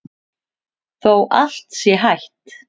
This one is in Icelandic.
Þótt allt sé hætt?